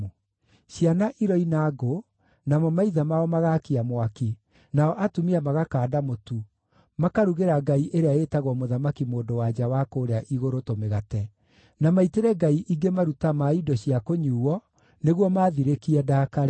Ciana iroina ngũ, namo maithe mao magaakia mwaki, nao atumia magakanda mũtu, makarugĩra ngai ĩrĩa ĩĩtagwo Mũthamaki-Mũndũ-wa-nja wa kũũrĩa Igũrũ tũmĩgate, na maitĩre ngai ingĩ maruta ma indo cia kũnyuuo nĩguo maathirĩkie ndaakare.